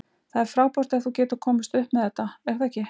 Það er frábært ef þú getur komist upp með þetta, er það ekki?